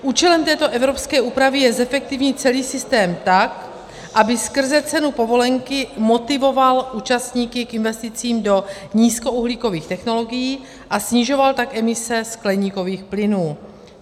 Účelem této evropské úpravy je zefektivnit celý systém tak, aby skrze cenu povolenky motivoval účastníky k investicím do nízkouhlíkových technologií, a snižoval tak emise skleníkových plynů.